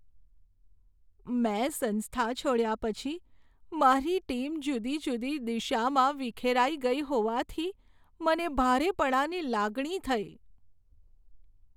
મેં સંસ્થા છોડ્યા પછી મારી ટીમ જુદી જુદી દિશામાં વિખેરાઈ ગઈ હોવાથી મને ભારેપણાની લાગણી થઈ.